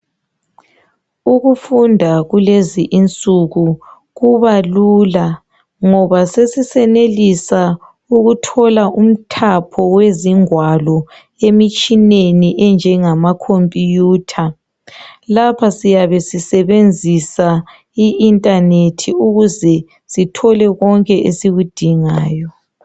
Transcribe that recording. Ukufunda kulezinsuku kuba lula ngoba sesisenelisa ukuthola umthapho wezingwalo emitshineni enjengama computer , lapha siyabe sisebenzisa I internet ukuze sithole konke esikudingayo